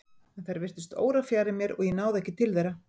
En þær virtust órafjarri mér og ég náði ekki til þeirra.